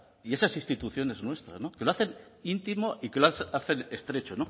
y esas instituciones nuestras que lo hacen íntimo y que lo hacen estrecho